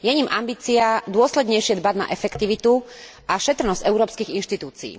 Je ním ambícia dôslednejšie dbať na efektivitu a šetrnosť európskych inštitúcií.